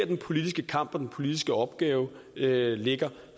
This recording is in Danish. den politiske kamp og den politiske opgave ligger